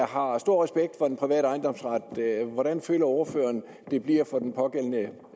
har stor respekt for den private ejendomsret hvordan føler ordføreren det bliver for den pågældende